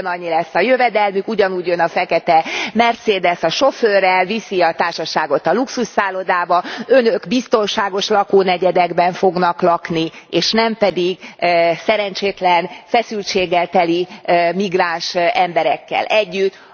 Ugyanannyi lesz a jövedelmük, ugyanúgy jön a fekete Mercedes a sofőrrel, viszi a társaságot a luxusszállodába, Önök biztonságos lakónegyedekben fognak lakni, és nem pedig szerencsétlen, feszültséggel teli migráns emberekkel együtt.